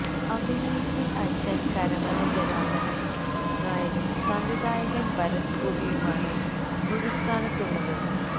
അഭിനയത്തില് അച്ഛന് കരമന ജനാര്ദനന് നായരും സംവിധായകന് ഭരത് ഗോപിയുമാണ് ഗുരുസ്ഥാനത്തുള്ളത്